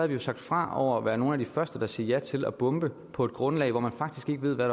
vi jo sagt fra over være nogle af de første der siger ja til at bombe på et grundlag hvor man faktisk ikke ved hvad